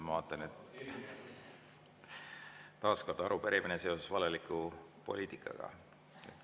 Ma vaatan, et taas on arupärimine seoses valeliku poliitikaga.